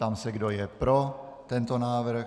Ptám se, kdo je pro tento návrh.